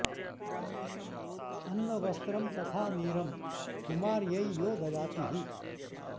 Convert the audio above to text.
अन्न वस्त्रं तथा नीरं कुमार्य्यै यो ददाति हि